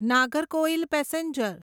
Nagercoil passenger